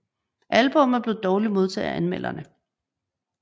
Albummet blev dårligt modtaget af anmelderne